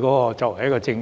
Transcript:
項政策。